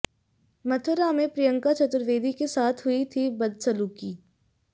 मथुरा में प्रियंका चतुर्वेदी के साथ हुई थी बदसलूकी